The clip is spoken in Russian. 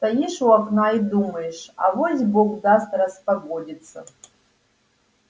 стоишь у окна и думаешь авось бог даст распогодится